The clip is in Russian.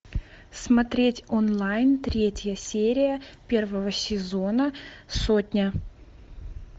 смотреть онлайн третья серия первого сезона сотня